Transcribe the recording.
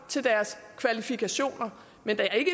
til deres kvalifikationer men der er ikke